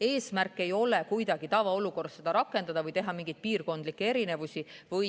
Eesmärk ei ole kuidagi tavaolukorras seda rakendada või teha mingeid piirkondlikke erisusi.